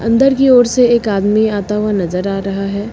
अंदर की ओर से एक आदमी आता हुआ नजर आ रहा है।